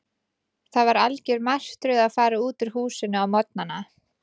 Það var algjör martröð að fara út úr húsinu á morgnana.